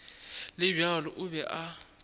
le bjalo o be a